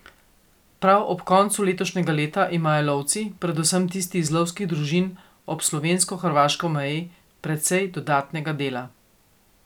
Prav ob koncu letošnjega leta imajo lovci, predvsem tisti iz lovskih družin ob slovensko hrvaški meji, precej dodatnega dela.